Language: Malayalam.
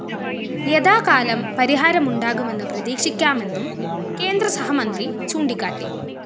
യഥാകാലം പരിഹാരം ഉണ്ടാകുമെന്ന് പ്രതീക്ഷിക്കാമെന്നും കേന്ദ്രസഹമന്ത്രി ചൂണ്ടിക്കാട്ടി